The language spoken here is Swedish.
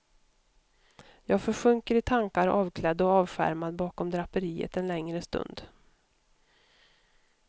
Jag försjunker i tankar avklädd och avskärmad bakom draperiet en längre stund.